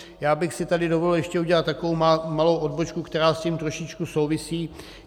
Já bych si tady dovolil ještě udělat takovou malou odbočku, která s tím trošičku souvisí.